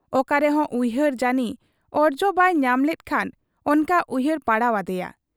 ᱚᱠᱟᱨᱮᱦᱚᱸ ᱩᱭᱦᱟᱹᱨ ᱡᱟᱹᱱᱤ ᱚᱨᱡᱚ ᱵᱟᱭ ᱧᱟᱢᱞᱮᱫ ᱠᱷᱟᱱ ᱚᱱᱠᱟ ᱩᱭᱦᱟᱹᱨ ᱯᱟᱲᱟᱣ ᱟᱫᱮᱭᱟ ᱾